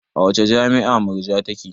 A wace jami'a Murja take?